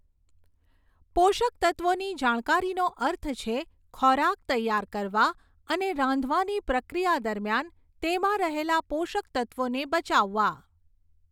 પોષકતત્ત્વોની જાણકારીનો અર્થ છે ખોરાક તૈયાર કરવા અને રાંધવાની પ્રક્રિયા દરમિયાન તેમાં રહેલા પોષક તત્ત્વોને બચાવવા.